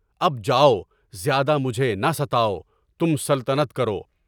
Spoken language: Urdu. اب جاؤ، زیادہ مجھے نہ ستاؤ، تم سلطنت کرو۔